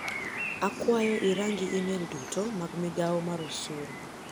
Akwayo irangi imel duto mag migao mar osuru